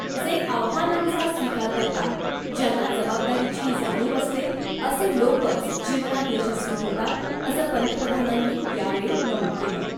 जे आव्हानांचा स्वीकार करतात , ज्यांना जबाबदारीची जाणीव असते , असे लोकच जीवनात यशस्वी होतात , असं पंतप्रधानांनी यावेळी नमूद केलं .